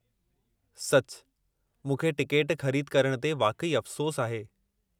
सचु, मूंखे टिकेट ख़रीद करणु ते वाक़ई अफ़सोसु आहे।